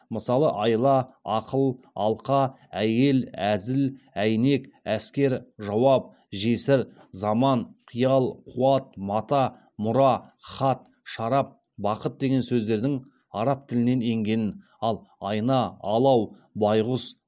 мысалы айла ақыл алқа әйел әзіл әйнек әскер жауап жесір заман қиял қуат мата мұра хат шарап бақыт деген сөздердің араб тілінен енгенін ал айна алау байғұс